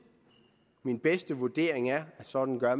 min bedste vurdering er at sådan gør